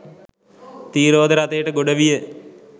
ත්‍රීරෝද රථයට ගොඩ විය.